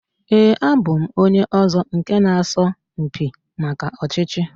Ee, abụ m onye ọzọ nke na asọ mpi maka ọchịchị